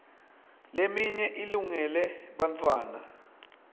leminye ilungele bartfwana